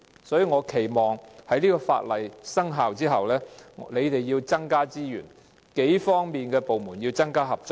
所以，我期望當局在法例生效後增加資源，數個部門亦要加強合作。